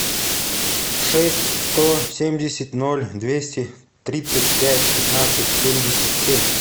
шесть сто семьдесят ноль двести тридцать пять пятнадцать семьдесят семь